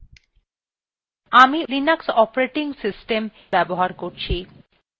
আমি এই tutorialএ linux অপারেটিং সিস্টেম ব্যবহার করছি